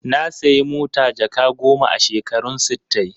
Na sayi mota jaka goma a shekarun sittai.